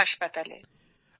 প্রয়াগ হাসপাতালে